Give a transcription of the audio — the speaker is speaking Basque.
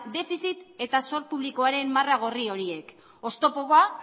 defizit eta zor publikoaren marra gorri horiek oztopo bat